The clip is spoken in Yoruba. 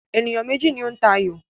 Ènìyàn méjì ni ó ń ta ayò náà